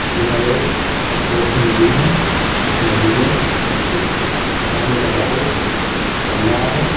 यह एक पत्थरों की नदी है इस नदी में कुछ पानी का बहाव चल रहा है।